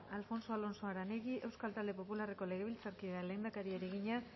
alfonso alonso aranegui euskal talde popularreko legebiltzarkideak lehendakariari egina